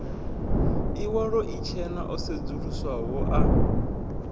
iwalo itshena o sedzuluswaho a